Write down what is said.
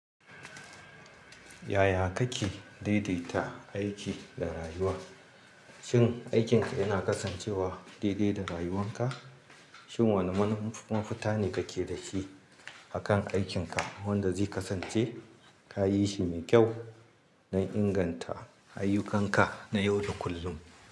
Yaya kake daidaita aiki da rayuwa? Shin aikinka yana kasancewa daidai da rayuwanka? Shin wane mafita ne kake da shi akan aikinka wanda zai kasance kayi shi mai kyau na inganta ayyukanka na yau da kullum.